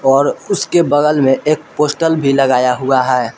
और उसके बगल मे एक पोस्टल भी लगाया हुआ है।